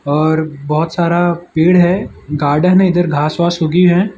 और बहोत सारा पेड़ है गार्डन है इधर घास वास उगी है।